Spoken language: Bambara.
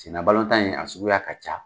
Sena in a suguya ka ca.